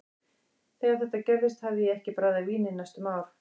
Þegar þetta gerðist hafði ég ekki bragðað vín í næstum ár.